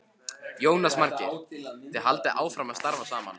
Jónas Margeir: Þið haldið áfram að starfa saman?